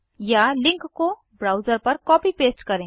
या लिंक को ब्राउज़र पर कॉपी पेस्ट करें